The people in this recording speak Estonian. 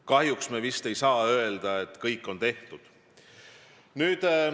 Kahjuks ei saa me vist öelda, et kõik on tehtud.